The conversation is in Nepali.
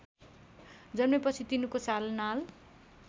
जन्मेपछि तिनको सालनाल